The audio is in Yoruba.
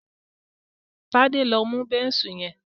Tade lọ mú Bẹ́ńsù yen.